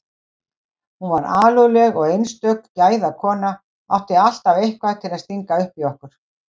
Hún var alúðleg og einstök gæðakona, átti alltaf eitthvað til að stinga upp í okkur.